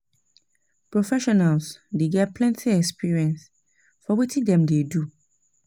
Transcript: Professionals dey get plenty experience for wetin dem dey do